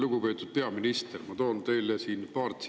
Lugupeetud peaminister!